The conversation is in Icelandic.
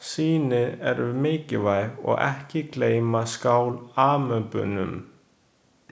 Sýnin eru mikilvæg og ekki gleyma skál-amöbunum.